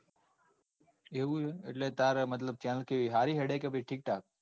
એવું છે. એટલે તારે મતલબ channel કેવી સારી હેડે કે ઠીકઠાક